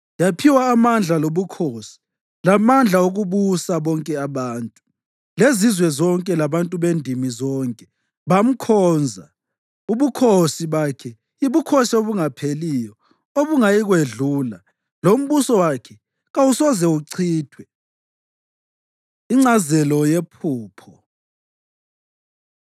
Yaphiwa amandla lobukhosi lamandla okubusa; bonke abantu, lezizwe zonke labantu bendimi zonke bamkhonza. Ubukhosi bakhe yibukhosi obungapheliyo obungayikwedlula, lombuso wakhe kawusoze uchithwe. Ingcazelo Yephupho